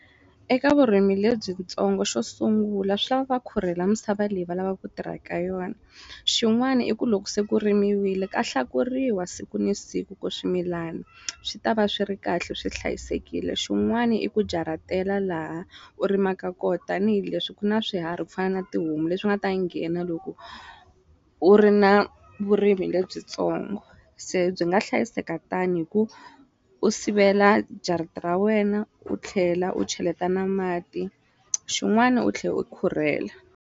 Eka vurimi lebyitsongo xo sungula swa va khurhela misava leyi va lavaka ku tirha eka yona xin'wani i ku loko se ku rimiwile ka hlakuriwa siku ni siku ku swimilani swi ta va swi ri kahle swi hlayisekile xin'wani i ku jaratela laha u rimaka kona tanihileswi ku na swiharhi ku fana na tihomu leswi nga ta nghena loko u ri na vurimi lebyitsongo se byi nga hlayiseka tani hi ku u sivela jarata ra wena u tlhela u cheleta na mati xin'wana u tlhe u khurhela.